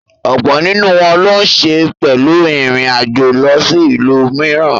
Ọ̀pọ̀ nínú wọn ló ń se pẹ̀lú ìrìn àjò lọ sí ìlú mìíràn.